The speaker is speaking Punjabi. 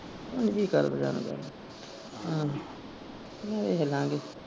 ਉਂਜ ਹੀ ਆਹੋ ਵੇਖਲਾਂਗੇ।